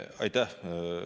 Aitäh!